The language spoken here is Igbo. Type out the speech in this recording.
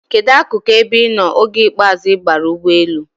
Kedụ akụkụ ebe ị nọ oge ikpeazụ ị baara n'ụgbọelu?